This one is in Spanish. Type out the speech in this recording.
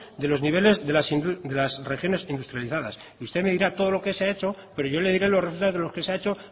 de los niveles de las regiones industrializadas usted me dirá todo lo que se ha hecho pero yo le diré los resultados de lo que se ha hecho